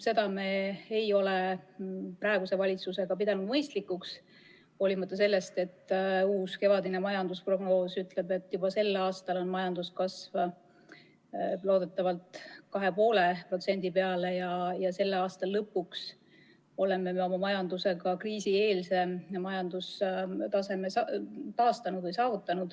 Seda ei ole me praeguse valitsusega pidanud mõistlikuks, hoolimata sellest, et uus, kevadine majandusprognoos ütleb, et juba sel aastal on majanduskasv loodetavasti 2,5% ja selle aasta lõpuks oleme saavutanud majanduse kriisieelse taseme.